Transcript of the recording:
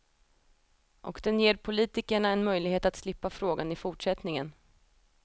Och den ger politikerna en möjlighet att slippa frågan i fortsättningen.